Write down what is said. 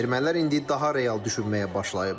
Ermənilər indi daha real düşünməyə başlayıblar.